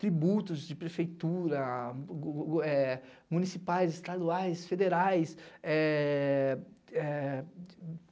Tributos de prefeitura, municipais, estaduais, federais.